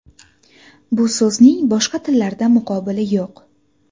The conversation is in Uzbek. Bu so‘zning boshqa tillarda muqobili yo‘q.